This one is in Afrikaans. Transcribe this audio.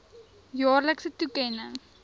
jaarlikse toekenning